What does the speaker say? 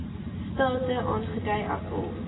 state aangedui asof